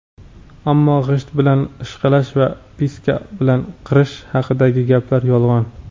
Ammo g‘isht bilan ishqalash va piska bilan qirish haqidagi gaplar – yolg‘on.